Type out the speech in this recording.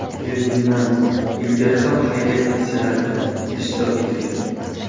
Ferdinand ilgari ham xayriya aksiyalarida ishtirok etgan.